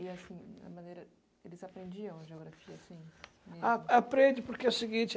e assim, a maneira, eles aprendiam a geografia assim?